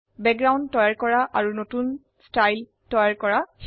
পটভূমি তৈয়াৰ কৰা আৰু নতুন শৈলী তৈয়াৰ কৰক